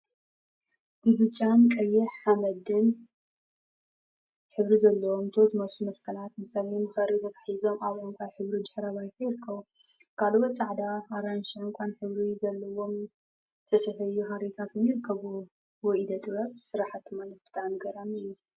ብብጫን ቀይሕ ሓመደን ሕብሪ ዘለዎም ቶ ዝመስሉ መስቀላት ብፀሊም ኽሪ ተተሓሒዞም አብ ዕንቋይ ሕብሪ ድሕረ ባይታ ይርከቡ፡፡ ካልኦት ፃዕዳ፣ አራንሺን ዕንቋን ሕብሪ ዘለዎም ዝተሰፈዩ ሃሪታት እውን ይርከቡዎም፡፡ ወይ ኢደ ጥበብ ስራሕቲ ማለት ብጣዕሚ ገራሚ እዩ፡፡